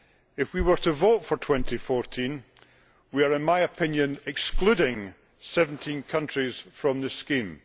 If we were to vote for 2014 we are, in my opinion, excluding 17 countries from the scheme.